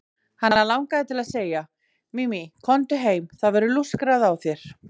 Hann langaði til að segja: Mimi, komdu heim, það verður lúskrað á þér.